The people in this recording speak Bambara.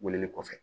Weleli kɔfɛ